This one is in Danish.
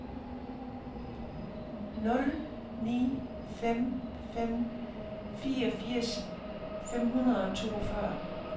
nul ni fem fem fireogfirs fem hundrede og toogfyrre